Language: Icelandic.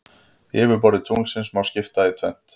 Yfirborði tunglsins má skipta í tvennt.